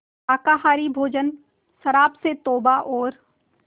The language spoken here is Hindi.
शाकाहारी भोजन शराब से तौबा और